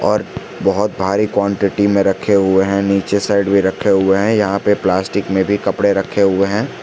और बहोत भारी क्वांटिटी में रखे हुए हैं नीचे साइड भी रखे हुए हैं यहां पे प्लास्टिक में भी कपड़े रखे हुए हैं।